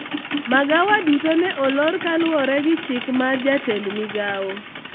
magawa duto ne olor kaluwore gi chik mar jatend migawo